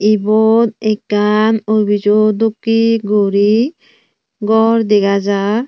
ibot ekkan obijo dokkey guri gor dega jar.